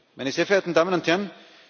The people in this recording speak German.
meine sehr verehrten Damen und Herren,